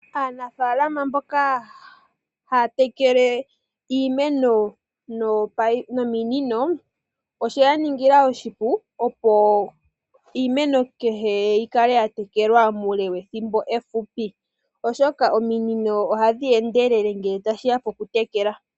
Aanafalama mboka haya takele iimeno noopayi nominino osheya ningila oshipu opo iimeno kehe yi kale ya tekelwa mule wethimbo efupi, oshoka ominino ohadhi endelele ngele ta shiya po ku tekela.